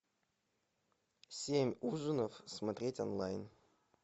семь ужинов смотреть онлайн